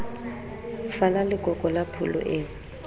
fala lekoko la pholo eo